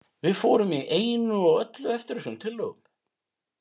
Við fórum í einu og öllu eftir þessum tillögum.